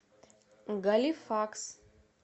галифакс